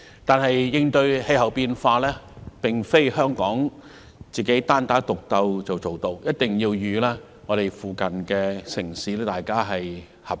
但是，應對氣候變化，並非香港"單打獨鬥"便做到，我們一定要與鄰近城市合作。